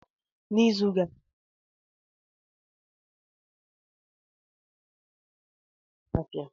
N'izu gara aga, ahịa mkpụrụ osisi na akwụkwọ nri na Kanu juputere na ndi na-azu afia.